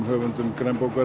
höfundum